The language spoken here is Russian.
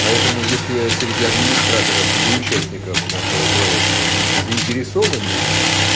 поэтому если среди администраторов и участников нашего проекта есть заинтересованность